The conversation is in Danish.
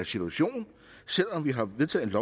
situation selv om vi har vedtaget et